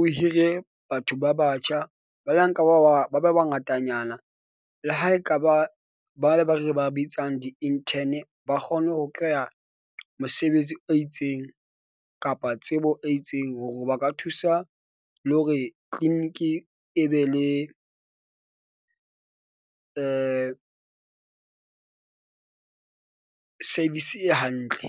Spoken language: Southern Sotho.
o hire batho ba batjha ba banka, ba ba ba ba bangatanyana le ha ekaba ba le ba re ba bitsang di-intern. Ba kgone ho kry-a mosebetsi o itseng kapa tsebo e itseng hore ba ka thusa le hore clinic e be le service e hantle.